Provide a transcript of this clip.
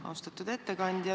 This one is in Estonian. Austatud ettekandja!